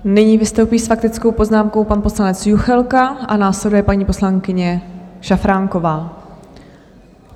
Nyní vystoupí s faktickou poznámkou pan poslanec Juchelka a následuje paní poslankyně Šafránková.